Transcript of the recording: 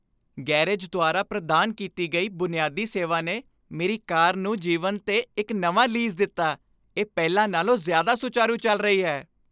Garage ਦੁਆਰਾ ਪ੍ਰਦਾਨ ਕੀਤੀ ਗਈ ਬੁਨਿਆਦੀ ਸੇਵਾ ਨੇ ਮੇਰੀ ਕਾਰ ਨੂੰ ਜੀਵਨ 'ਤੇ ਇੱਕ ਨਵਾਂ ਲੀਜ਼ ਦਿੱਤਾ, ਇਹ ਪਹਿਲਾਂ ਨਾਲੋਂ ਜ਼ਿਆਦਾ ਸੁਚਾਰੂ ਚੱਲ ਰਹੀ ਹੈ!